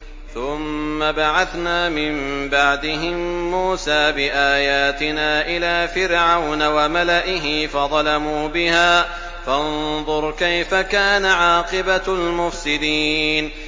ثُمَّ بَعَثْنَا مِن بَعْدِهِم مُّوسَىٰ بِآيَاتِنَا إِلَىٰ فِرْعَوْنَ وَمَلَئِهِ فَظَلَمُوا بِهَا ۖ فَانظُرْ كَيْفَ كَانَ عَاقِبَةُ الْمُفْسِدِينَ